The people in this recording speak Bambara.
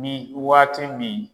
Ni waati bi.